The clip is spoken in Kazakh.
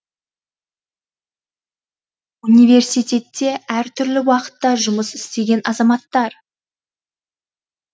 университетте әр түрлі уақытта жұмыс істеген азаматтар